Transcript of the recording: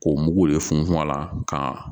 K'o mugu de funfun a la ka